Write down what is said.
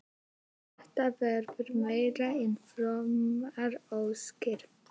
Þetta verða meira en frómar óskir.